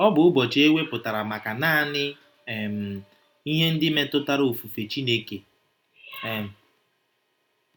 Ọ bụ ụbọchị e wepụtara maka naanị um ihe ndị metụtara ofufe Chineke. um